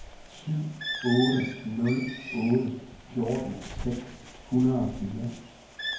syv otte nul otte fjorten seks hundrede og fire